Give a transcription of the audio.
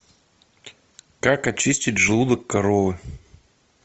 как очистить желудок коровы